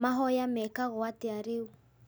Mahoya mekagwo atĩa rĩu